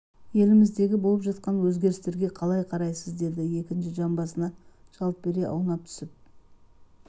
еліміздегі болып жатқан өзгерістерге қалай қарайсыз деді екінші жамбасына жалт бере аунап түсіп